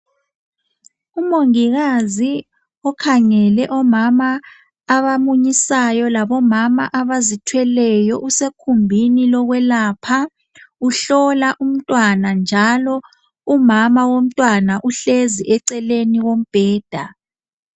Umongikazi okhangele omama abamunyisayo labomama abazithweleyo usekhumbini yokwelapha uhlola umntwana njalo umama womntwana uhlezi eceleni kwombheda